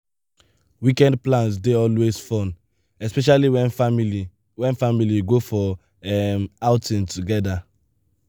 weekend plans dey always fun especially when family when family go for um outing together.